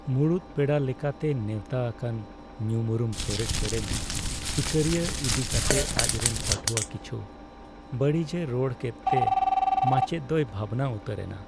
ᱢᱩᱲᱩᱫ ᱯᱮᱲᱟ ᱞᱮᱠᱟᱛᱮ ᱱᱮᱣᱛᱟ ᱟᱠᱟᱱ ᱧᱩᱢᱩᱨᱩᱢ ᱥᱚᱨᱮᱥ ᱥᱮᱹᱨᱮᱹᱧ ᱥᱤᱠᱟᱹᱨᱤᱭᱟᱹ ᱤᱫᱤ ᱠᱟᱛᱮ ᱟᱡᱨᱮᱱ ᱯᱟᱹᱴᱷᱩᱣᱟᱹ ᱠᱤᱪᱷᱩ ᱵᱟᱹᱲᱤᱡᱮ ᱨᱚᱲ ᱠᱮᱫᱛᱮ ᱢᱟᱪᱮᱫ ᱫᱚᱭ ᱵᱷᱟᱵᱽᱱᱟ ᱩᱛᱟᱹᱨ ᱮᱱᱟ ᱾